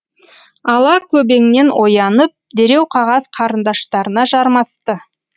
ала көбеңнен оянып дереу қағаз қарындаштарына жармасты